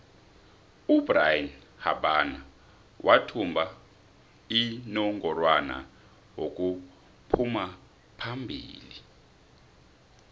ubrian habana wathumba inongorwana wokuphumaphombili